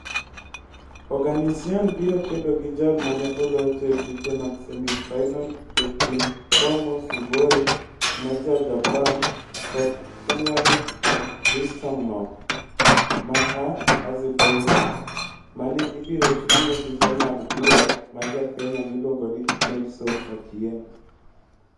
Oganisyan biro kedo gi jal ma ne olocho e tuke mag semi-final e kind Tomo Tsuboi ma Ja-Japan kod Umoid Rystamnov ma Azerbaijan, ma ne ibiro chung'ne gi jang'ad bura ma Ja-Kenya miluongo ni Nelson Otieno.